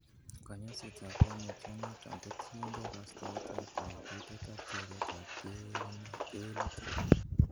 Konyoisetab koimutioniton kotokyingei kostoetab koututet ak teretab kewelutik.